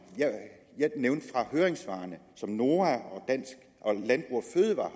fra høringssvarene som noah og landbrug fødevarer